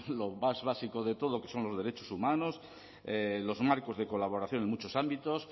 lo más básico de todo que son los derechos humanos los marcos de colaboración en muchos ámbitos